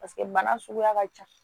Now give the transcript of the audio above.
paseke bana suguya ka ca